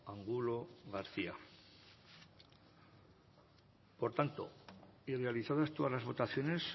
angulo garcía por tanto realizadas todas las votaciones